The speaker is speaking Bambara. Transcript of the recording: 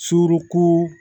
Surun